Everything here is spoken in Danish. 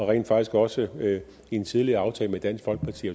rent faktisk også i en tidligere aftale med dansk folkeparti